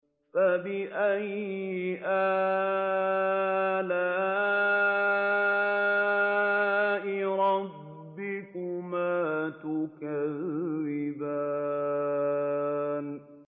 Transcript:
فَبِأَيِّ آلَاءِ رَبِّكُمَا تُكَذِّبَانِ